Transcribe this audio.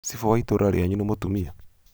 cibũ wa itũũra rĩanyu nĩ mũtũmia?